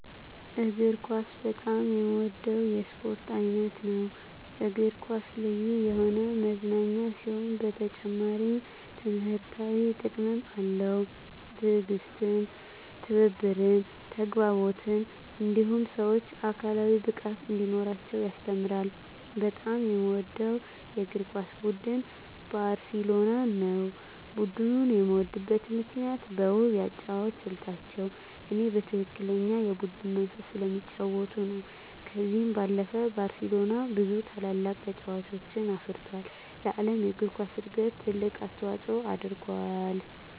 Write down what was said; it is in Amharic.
እግር ኳስ በጣም የምወደው የስፖርት አይነት ነው። እግር ኳስ ልዩ የሆነ መዝናኛ ሲሆን በተጨማሪም ትምህርታዊ ጥቅምም አለው። ትዕግስትን፣ ትብብርን፣ ተግባቦትን እንዲሁም ሰወች አካላዊ ብቃት እንዲኖራቸው ያስተምራል። በጣም የምወደው የእግር ኳስ ቡድን ባርሴሎናን ነው። ቡድኑን የምወድበት ምክንያት በውብ የአጨዋወት ስልታቸው እኔ በትክክለኛ የቡድን መንፈስ ስለሚጫወቱ ነው። ከዚህ ባለፈም ባርሴሎና ብዙ ታላላቅ ተጫዋቾችን አፍርቶ ለዓለም እግር ኳስ እድገት ትልቅ አስተዋፅኦ አድርጎአል።